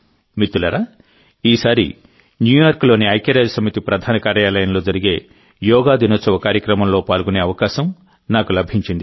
మిత్రులారాఈసారి న్యూయార్క్లోని ఐక్యరాజ్యసమితి ప్రధాన కార్యాలయంలో జరిగే యోగా దినోత్సవ కార్యక్రమంలో పాల్గొనే అవకాశం నాకు లభించింది